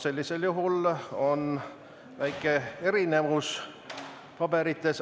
Sellisel juhul on paberites väike erinevus.